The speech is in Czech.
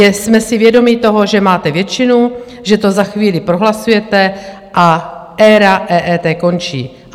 Jsme si vědomi toho, že máte většinu, že to za chvíli prohlasujete a éra EET končí.